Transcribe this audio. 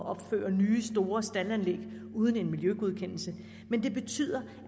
at opføre nye store staldanlæg uden en miljøgodkendelse men det betyder